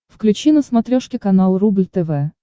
включи на смотрешке канал рубль тв